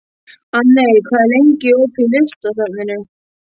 Anney, hvað er lengi opið í Listasafninu?